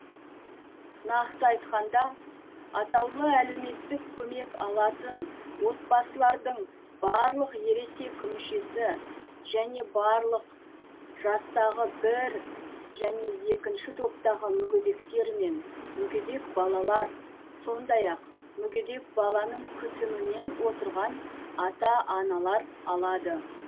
нақты айтқанда атаулы әлеуметтік көмек алатын отбасылардың барлық ересек мүшесі және барлық жастағы бір және екінші топтағы мүгедектер мен мүгедек балалар сондай ақ мүгедек баланың күтімімен отырған ата аналар алады